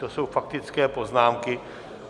To jsou faktické poznámky.